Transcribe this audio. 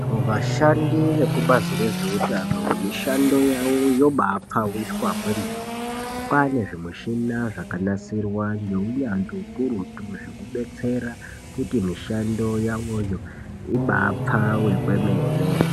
Vashandi veku bazi rezve utano mishando yavo yobai pfawiswa kwemene kwane zvi mushina zvaka nasirwa nge unyanzvi ukurutu zveku betsera kuti mishando yawo yo ibai pfawe kwemene.